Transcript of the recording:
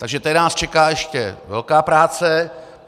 Takže tady nás čeká ještě velká práce.